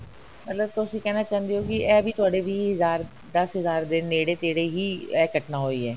ਮਤਲਬ ਤੁਸੀਂ ਕਹਿਣਾ ਚਾਹੁੰਦੇ ਹੋ ਕਿ ਇਹ ਤੁਹਾਡੇ ਵੀਹ ਹਜ਼ਾਰ ਦਸ ਹਜ਼ਾਰ ਦੇ ਨੇੜੇ ਤੇੜੇ ਹੀ ਇਹ ਘਟਨਾ ਹੋਈ ਹੈ